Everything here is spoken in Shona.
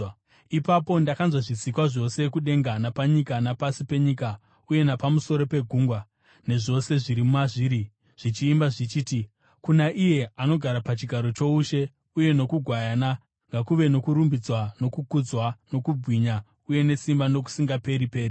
Ipapo ndakanzwa zvisikwa zvose kudenga napanyika napasi penyika uye napamusoro pegungwa, nezvose zviri mazviri, zvichiimba zvichiti: “Kuna iye anogara pachigaro choushe uye nokuGwayana ngakuve nokurumbidzwa nokukudzwa nokubwinya uye nesimba, nokusingaperi-peri!”